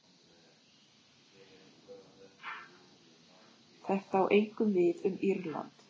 Þetta á einkum við um Írland.